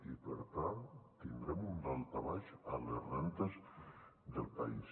i per tant tindrem un daltabaix a les rendes del país